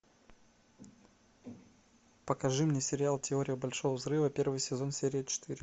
покажи мне сериал теория большого взрыва первый сезон серия четыре